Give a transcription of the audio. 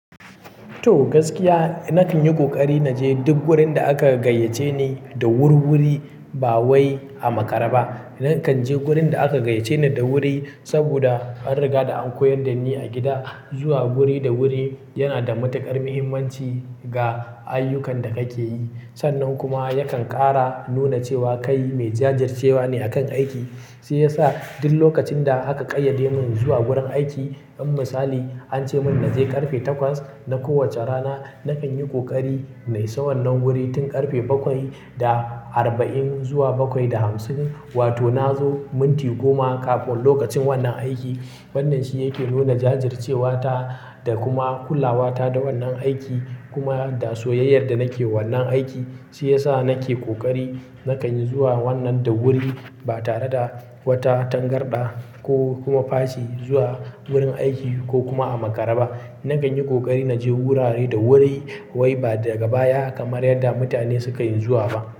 To, gaskiya na kan yi ƙoƙari na je duk gurin da aka gayyace ni da wurwuri, ba wai a makara ba. Na kan je wurin da aka gayyace ni da wuri saboda an riga da an koyar da ni a gida, zuwa wuri da wuri yana da matuƙar muhimmanci ga ayyukan da kake yi. Sannan kuma yakan ƙara nuna cewa kai mai jajircewa ne a kan aiki. Shi ya sa duk lokacin da aka ƙayyade mun zuwa wurin aiki, in misali an ce mun na je ƙarfe takwas na kowacce rana, na kan yi ƙoƙari na isa wannan wuri tun ƙarfe bakwai da arba'in zuwa bakwai da hamsin. Wato na zo minti goma kafin lokacin wannan aiki. Wannan shi yake nuna jajircewa ta da kuma kulawa ta da wannan aiki, kuma da soyayyar da nake wannan aiki. Shi ya sa nake ƙoƙari na kan zuwa wannan da wuri, ba tare da wata tangarɗa ko kuma fashi zuwa wurin aiki ko kuma a makara ba. Na kan yi ƙoƙari na je wurare da wuri wai ba daga baya kamar yadda mutane sukan zuwa ba.